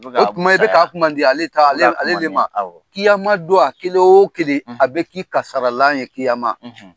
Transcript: O tuma e bi k'a kuma di ale de ma. kiyama don a kelen o kelen a be k'i ka sararalan ye kiyama